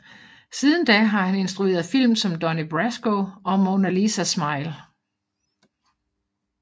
Siden da har han instrueret film som Donnie Brasco og Mona Lisa Smile